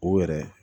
O yɛrɛ